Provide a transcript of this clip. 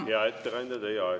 Hea ettekandja, teie aeg!